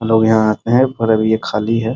लोग यहाँ पर आते हैं पर अब ये खली है।